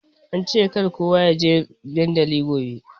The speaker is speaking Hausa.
Ance kar kowa ya je dandali gobe.